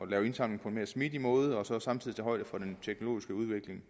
lave indsamling på en mere smidig måde og samtidig tage højde for den teknologiske udvikling